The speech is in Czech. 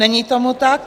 Není tomu tak.